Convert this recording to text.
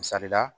Misali la